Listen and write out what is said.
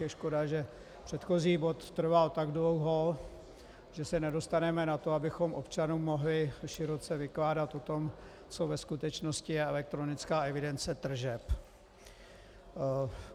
Je škoda, že předchozí bod trval tak dlouho, že se nedostaneme na to, abychom občanům mohli široce vykládat o tom, co ve skutečnosti je elektronická evidence tržeb.